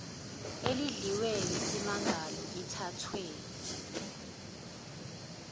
elidliwe yisimangalo lithathwe